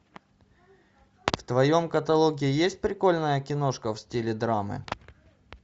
в твоем каталоге есть прикольная киношка в стиле драмы